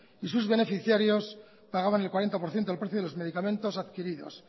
y sus beneficiarios pagaban el cuarenta por ciento del precio de los medicamentos adquiridos